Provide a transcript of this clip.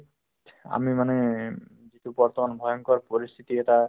আমি মানে যিটো বৰ্তমান ভয়ংকৰ পৰিস্থিতি এটা